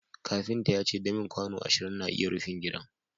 kafinta ya ce damin kwano ashirin na iya rufin gidan